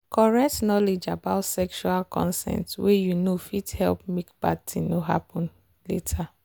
correct knowledge about sexual consent way you know fit help make bad thing no happen later.